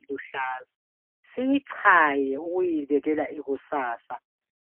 iluhlaza, siyichaye siyibekela ikusasa,